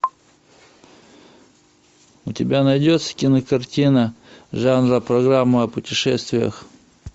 у тебя найдется кинокартина жанра программа о путешествиях